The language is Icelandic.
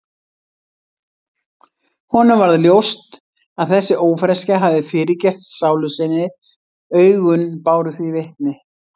Honum varð ljóst að þessi ófreskja hafði fyrirgert sálu sinni, augun báru því vitni.